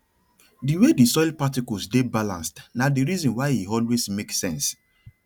di way di soil particles dey balanced na di reason why e always make sense